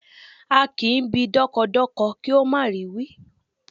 A kì í bi dọ́kọdọkọ kí ó má rì í wí